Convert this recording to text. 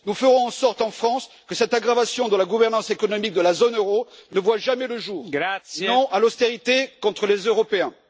Nous ferons en sorte en France que cette aggravation de la gouvernance économique de la zone euro ne voit jamais le jour. Non à l'austérité contre les Européens!